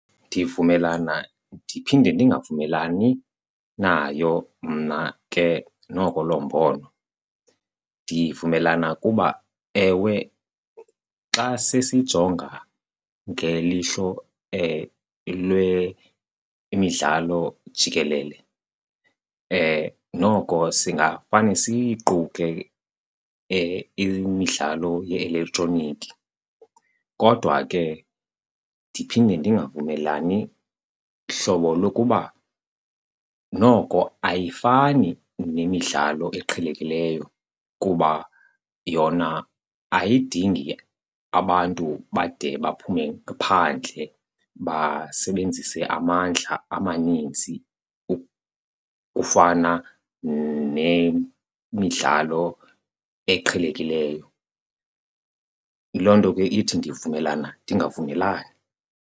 Ndivumelana ndiphinde ndingavumelani nayo mna ke noko loo mbono. Ndivumelana kuba, ewe, xa sesijonga ngelihlo lwemidlalo jikelele noko singafane siyiquke imidlalo ye-elektroniki. Kodwa ke ndiphinde ndingavumelani hlobo lokuba noko ayifani nemidlalo eqhelekileyo kuba yona ayidingi abantu bade baphume phandle basebenzise mandla amaninzi ukufana nemidlalo eqhelekileyo. Loo nto ke ithi ndivumelana ndingavumelani.